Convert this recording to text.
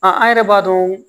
An yɛrɛ b'a dɔn